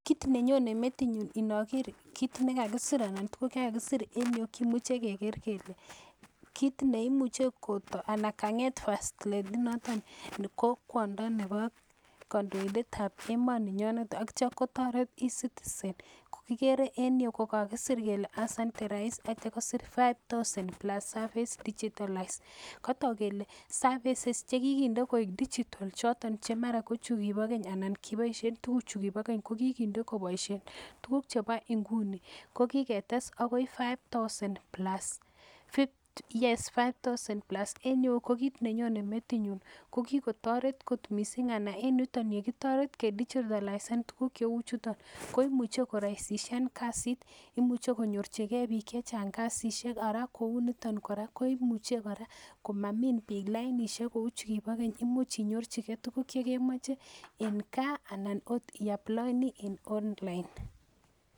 Kit nenyone metinyu inoker kit nekakisir anan tuguk chakakisir en yu kimuche keker kele kit neimuche koto, anan kanget first lady noton ko kwondo nebo kondoindetab emoninyonet ak itio kotoret e_ citizens kokikere en yu kokakisir kele asante rais ak itio kosir five thousands plus services digitalized kotok kele services chekikinde koik [vs]digital choton chemara kochukibo keny anan komara kiboishe. tuguchu kibo keny kokikinde koboishen tuguk chebo inguni, kokiketes akoi five thousands plus en yu kokit nenyone metinyun kokikotoret kot missing', anan en yuton yukitoret kedigitalisen tuguk cheuchuton koimuche koraisishan kasit imuche konyorjigee bik chechang kasishek araa kouniton koraa koimuche komamin bik lainishek kou chukibo keny imuch inyorjikee tuguk chekemoche en kaa anan oot ioploeni en online.